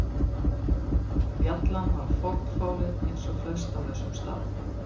Bjallan var fornfáleg eins og flest á þessum stað.